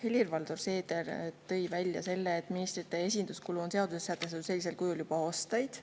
Helir-Valdor Seeder tõi välja, et ministrite esinduskulu on olnud seaduses sellisel kujul sätestatud juba aastaid.